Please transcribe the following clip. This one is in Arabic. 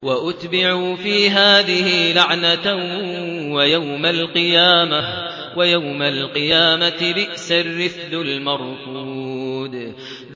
وَأُتْبِعُوا فِي هَٰذِهِ لَعْنَةً وَيَوْمَ الْقِيَامَةِ ۚ بِئْسَ الرِّفْدُ الْمَرْفُودُ